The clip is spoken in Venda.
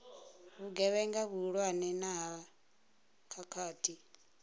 vhugevhenga vhuhulwane na ha khakhathi